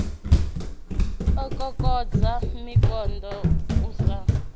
u kokodza mikando u sa